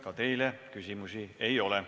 Ka teile küsimusi ei ole.